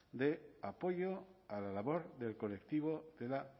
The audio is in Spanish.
de apoyo a la labor del colectivo de la